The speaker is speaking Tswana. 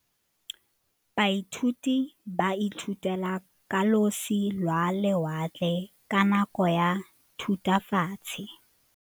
Baithuti ba ithutile ka losi lwa lewatle ka nako ya Thutafatshe.